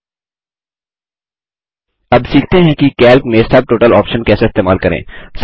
अब सीखते हैं कि कैल्क में सबटोटल ऑप्शन कैसे इस्तेमाल करें